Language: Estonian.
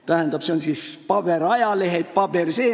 Tähendab, see on siis paberajalehed jne.